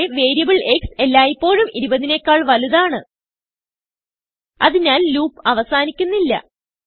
പക്ഷെ വേരിയബിൾ xഎല്ലായിപ്പോഴും 20 നെക്കാൾ വലുതാണ് അതിനാൽ loopഅവസാനിക്കുന്നില്ല